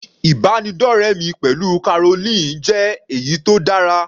Ìbánidọ́rẹ mi pẹ̀lú Caroline jẹ́ èyí tó dára.